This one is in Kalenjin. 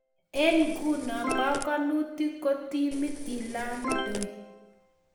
Eng' nguno panganutik kotimi ilandoi